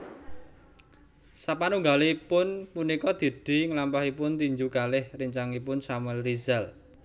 Sapanunggalipun punika Didi nglampahipun tinju kalih rencangipun Samuel Rizal